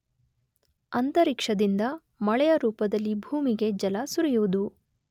ಅಂತರಿಕ್ಷದಿಂದ ಮಳೆಯ ರೂಪದಲ್ಲಿ ಭೂಮಿಗೆ ಜಲ ಸುರಿಯುವುದು.